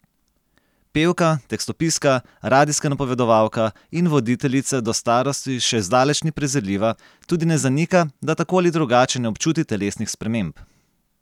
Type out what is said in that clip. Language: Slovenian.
Pevka, tekstopiska, radijska napovedovalka in voditeljica do starosti še zdaleč ni prezirljiva, tudi ne zanika, da tako ali drugače ne občuti telesnih sprememb.